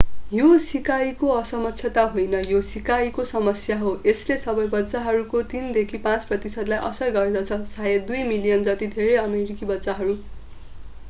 यो सिकाइको असक्षमता होइन यो सिकाइको समस्या हो यसले सबै बच्चाहरूको 3 देखि 5 प्रतिशतलाई असर गर्दछ शायद 2 मिलियन जति धेरै अमेरिकी बच्चाहरू